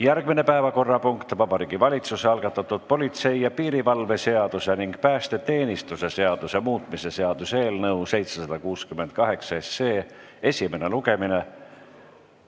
Järgmine päevakorrapunkt: Vabariigi Valitsuse algatatud politsei ja piirivalve seaduse ning päästeteenistuse seaduse muutmise seaduse eelnõu esimene lugemine.